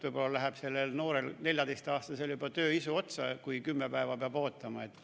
Võib-olla läheb sellel noorel, 14-aastasel juba tööisu üle, kui 10 päeva peab ootama.